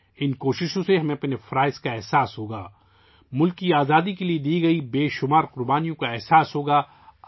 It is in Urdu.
ان کوششوں سے ہمیں اپنے فرائض کا احساس ہو گا... ہمیں وطن کی آزادی کے لیے دی گئی لاتعداد قربانیوں کا احساس ہو گا